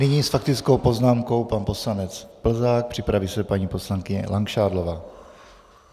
Nyní s faktickou poznámkou pan poslanec Plzák, připraví se paní poslankyně Langšádlová.